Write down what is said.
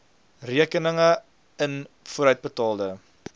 rekeninge n vooruitbetaalde